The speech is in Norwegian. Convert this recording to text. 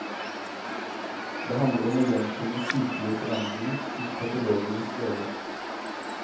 Det handler om å gjenkjenne sykelige forandringer, sier patologenes leder.